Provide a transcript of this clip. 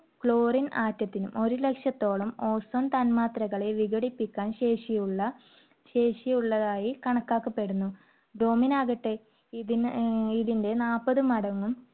chlorine atom ത്തിനും ഒരു ലക്ഷത്തോളം ozone തന്മാത്രകളെ വിഘടിപ്പിക്കാൻ ശേഷിയുള്ള~ശേഷിയുള്ളതായി കണക്കാക്കപ്പെടുന്നു. bromine ആകട്ടെ ഇതിന് ഏർ ഇതിന്റെ നാൽപത് മടങ്ങും.